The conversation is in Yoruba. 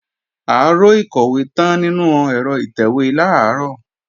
Aró ìkọ̀wé tán nínú ẹ̀rọ ìtẹ̀wé làárọ̀